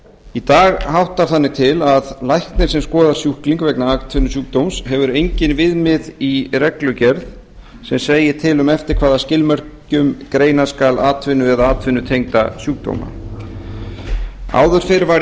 í dag háttar þannig til að læknir sem skoðar sjúkling vegna atvinnusjúkdóms hefur engin viðmið í reglugerð sem segir til um eftir hvaða skilmerkjum greina skal atvinnu eða atvinnutengda sjúkdóma áður fyrr var í